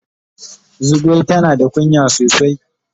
Zugwai tana da kunya sosai.